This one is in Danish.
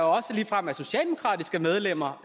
også ligefrem er socialdemokratiske medlemmer